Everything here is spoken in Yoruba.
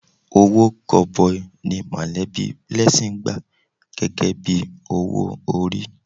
Owó gọbọi ni mọ̀lẹ́bí Blessing gbà gẹ́gẹ́ bí owó orí.